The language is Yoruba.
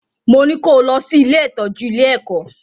Mo ní kó o lọ sí ilé-ìtọ́jú ile-ẹ̀kọ́!